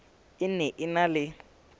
e ne e na le